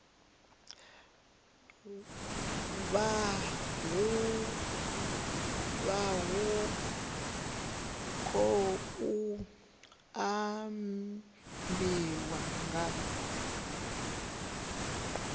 vha hu khou ambiwa nga